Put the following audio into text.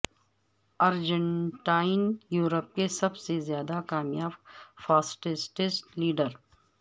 Argentine Europe کے سب سے زیادہ کامیاب فاسسٹسٹ لیڈر